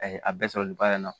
A ye a bɛɛ sɔrɔ nin baara in na